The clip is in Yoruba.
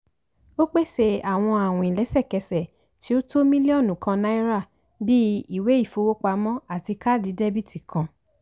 ó pèsè àwọn àwìn lẹ́sẹ̀kẹ́sẹ̀ tí ó tó mílíọ̀nù kàn náírà bíi ìwé ìfowópamọ́ àti káàdì dẹ́bìtì kan.